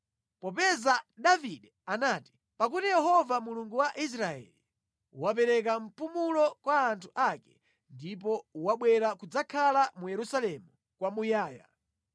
Popeza Davide anati, “Pakuti Yehova Mulungu wa Israeli, wapereka mpumulo kwa anthu ake ndipo wabwera kudzakhala mu Yerusalemu kwamuyaya,